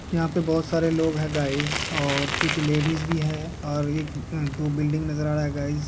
यहाँ पे बहोत सारे लोग है गाइज़ और कुछ लेडीज भी है और एक अ दो बिल्डिंग नज़र आ रहा है गाइज़ --